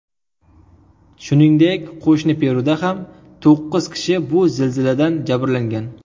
Shuningdek, qo‘shni Peruda ham to‘qqiz kishi bu zilziladan jabrlangan.